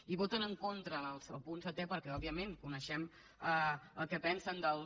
i voten en contra del punt setè perquè òbviament coneixem el que pensen dels